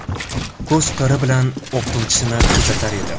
Ko‘z qiri bilan o‘qituvchisini kuzatar edi.